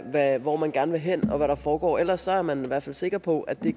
af hvor man gerne vil hen og hvad der foregår ellers er man i hvert fald sikker på at det